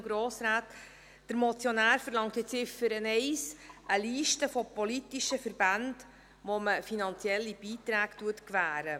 Der Motionär verlang in Ziffer 1 eine Liste der politischen Verbände, denen man finanzielle Beiträge gewährt.